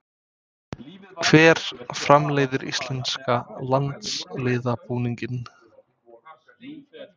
Hver framleiðir íslenska landsliðsbúninginn?